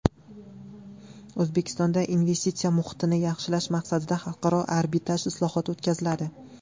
O‘zbekistonda investitsiya muhitini yaxshilash maqsadida xalqaro arbitraj islohoti o‘tkaziladi.